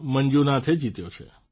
મંજુનાથે જીત્યો છે